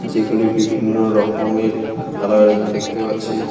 যেগুলি বিভিন্ন রকমের কালারের দেখতে পাচ্ছি।